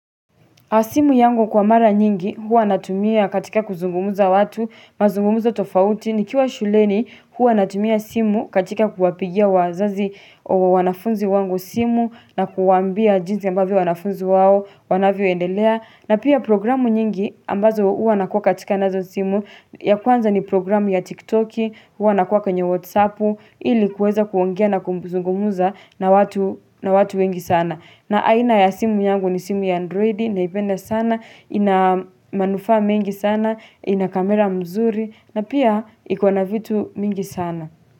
Simu yangu kwa mara nyingi, huwa natumia katika kuzungumuza watu, mazungumuzo tofauti, ni kiwa shuleni, huwa natumia simu katika kuwapigia wazazi wanafunzi wangu simu, na kuwaambia jinsi ambavyo wanafunzi wao, wanavyo endelea, na pia programu nyingi ambazo huwa nakua katika nazo simu, ya kwanza ni programu ya tiktoki, huwa nakua kwenye whatsappu, ili kweza kuongea na kuzungumuza na watu wengi sana. Na aina ya simu yangu ni simu ya androidi, naipende sana, inamanufa mingi sana, inakamera mzuri, na pia ikona vitu mingi sana.